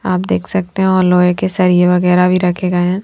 आप देख सकते हैं और लोहे के सरिए वगैरह भी रखे गए है।